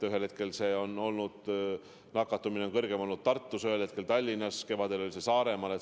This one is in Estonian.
Ühel hetkel on nakatumine kõrgem olnud Tartus, ühel hetkel Tallinnas, kevadel oli see Saaremaal.